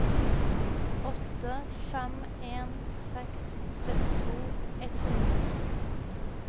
åtte fem en seks syttito ett hundre og sytti